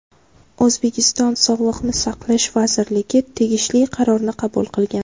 O‘zbekiston Sog‘liqni saqlash vazirligi tegishli qarorni qabul qilgan.